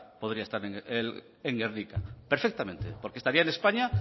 podría estar en gernika perfectamente porque estaría en españa